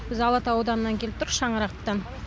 біз алатау ауданынан келіп шаңырақтан